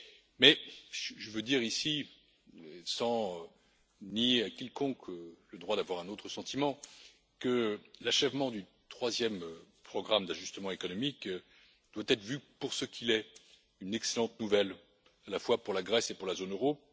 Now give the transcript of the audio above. Mais je veux dire, ici, sans nier à quiconque le droit d'avoir un autre sentiment, que l'achèvement du troisième programme d'ajustement économique doit être vu pour ce qu'il est, à savoir une excellente nouvelle, à la fois pour la Grèce et pour la zone euro.